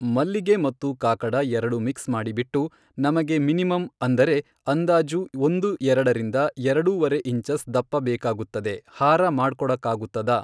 ಮಲ್ಲಿಗೆ ಮತ್ತು ಕಾಕಡ ಎರಡು ಮಿಕ್ಸ್ ಮಾಡಿಬಿಟ್ಟು ನಮಗೆ ಮಿನಿಮಮ್ ಅಂದರೆ ಅಂದಾಜು ಒಂದು ಎರಡರಿಂದ ಎರಡೂವರೆ ಇಂಚಸ್ ದಪ್ಪ ಬೇಕಾಗುತ್ತದೆ ಹಾರ ಮಾಡ್ಕೊಡಕ್ಕಾಗುತ್ತದಾ ?